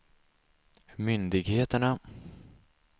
myndigheterna